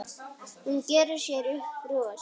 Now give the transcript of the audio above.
Hún gerir sér upp bros.